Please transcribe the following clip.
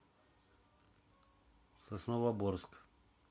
сосновоборск